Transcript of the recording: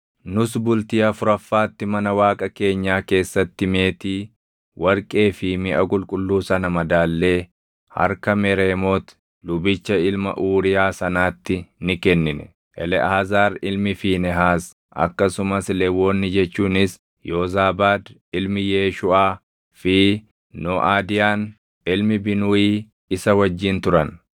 Nus bultii afuraffaatti mana Waaqa keenyaa keessatti meetii, warqee fi miʼa qulqulluu sana madaallee harka Mereemooti lubicha ilma Uuriyaa sanaatti ni kennine. Eleʼaazaar ilmi Fiinehaas akkasumas Lewwonni jechuunis Yoozaabaad ilmi Yeeshuuʼaa fi Nooʼadiyaan ilmi Binuuyii isa wajjin turan.